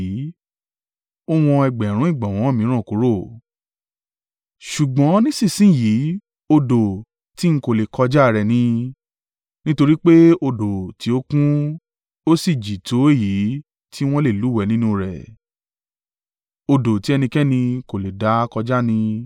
Ó wọn ẹgbẹ̀rún ìgbọ̀nwọ́ mìíràn kúrò, ṣùgbọ́n nísinsin yìí odò tí ń kò lè kọjá rẹ̀ ni, nítorí pé odò tí ó kún, ó sì jì tó èyí tí wọ́n le lúwẹ̀ẹ́ nínú rẹ̀ odò tí ẹnikẹ́ni kò le dá kọjá ni.